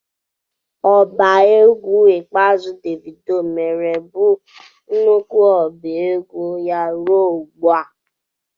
Oba egwu ikpeazụ Devido mere bụ nnukwu ọba egwu ya ruo ugbu a.